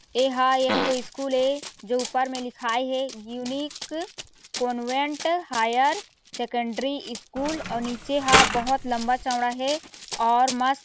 एहा एक ठो स्कूल ए जो ऊपर में लिखाय हे unique convent higher secondary school निचे ह बहोत लम्बा चौड़ा हे और मस्त--